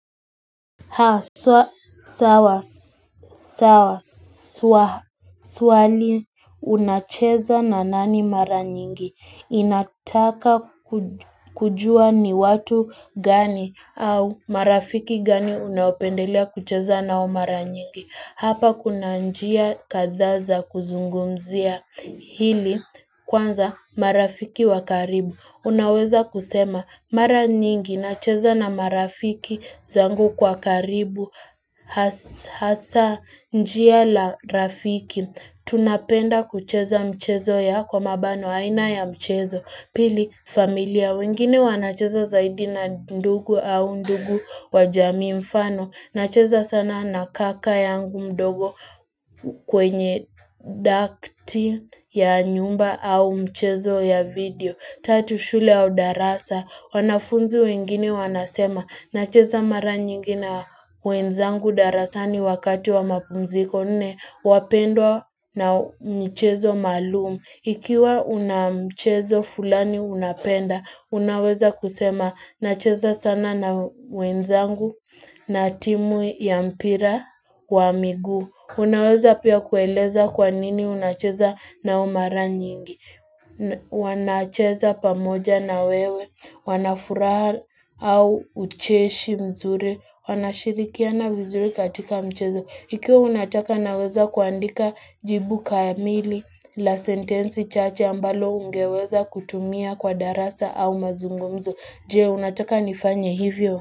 Haswa sawasawa swali unacheza na nani mara nyingi inataka kujua ni watu gani au marafiki gani unaopendelia kucheza nao mara nyingi Hapa kuna njia kadha za kuzungumzia hili kwanza marafiki wa karibu. Unaweza kusema mara nyingi nacheza na marafiki zangu kwa karibu hasa njia la rafiki. Tunapenda kucheza mchezo ya kwa mabano aina ya mchezo. Pili familia wengine wanacheza zaidi na ndugu au ndugu wa jamii mfano. Nacheza sana na kaka yangu mdogo kwenye daftari ya nyumba au mchezo ya video. Tatu shule au darasa. Wanafunzi wengine wanasema. Nacheza mara nyingi na wenzangu darasani wakati wa mapumziko. Nne, wapendwa na mchezo maalum. Ikiwa una mchezo fulani unapenda, unaweza kusema. Nacheza sana na wenzangu na timu ya mpira kwa miguu. Unaweza pia kueleza kwa nini unacheza nao mara nyingi. Wanacheza pamoja na wewe. Wanafuraha au ucheshi mzuri. Wanashirikiana vizuri katika mchezo. Ikiwa unataka naweza kuandika jibu kamili. La sentensi chache ambalo ungeweza kutumia kwa darasa au mazungumzo. Je, unataka nifanye hivyo.